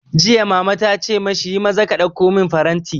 Jiya Mama tace mashi, yi maza ka ɗauko man faranti!